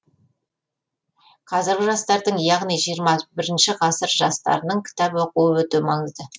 қазіргі жастардың яғни жиырма бірінші ғасыр жастарының кітап оқуы өте маңызды